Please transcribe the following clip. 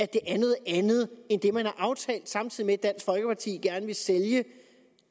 det er noget andet end det man har aftalt samtidig med at dansk folkeparti gerne vil sælge